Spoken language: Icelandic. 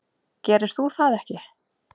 Gerir þú það ekki?